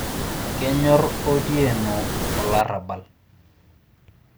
kenyor otieno olarrabal